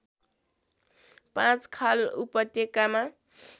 पाँचखाल उपत्यकामा